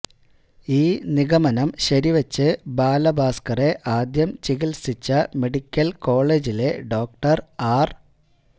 ഈ നിഗമനം ശരിവച്ച് ബാലഭാസ്ക്കറെ ആദ്യം ചികിത്സിച്ച മെഡിക്കല് കോളേജിലെ ഡോക്ടര് ആര്